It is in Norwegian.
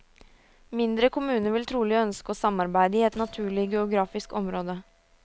Mindre kommuner vil trolig ønske å samarbeide i et naturlig geografisk område.